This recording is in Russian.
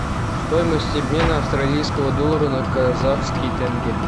стоимость обмена австралийского доллара на казахский тенге